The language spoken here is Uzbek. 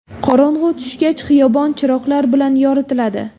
Qorong‘u tushgach xiyobon chiroqlar bilan yoritiladi.